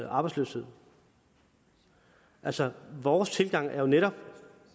arbejdsløshed altså vores tilgang er jo netop